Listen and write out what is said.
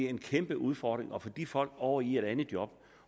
en kæmpe udfordring at få de folk over i et andet job